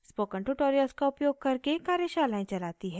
spoken tutorials का उपयोग करके कार्यशालाएं चलाती है